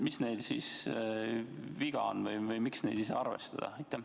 Mis neil siis viga on või miks neid ei saa arvestada?